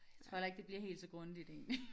Jeg tror heller ikke det bliver helt så grundigt egentlig